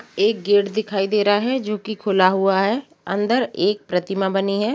एक गेट दिखाई दे रहा है जोकि खुला हुआ है अंदर एक प्रतिमा बनी है।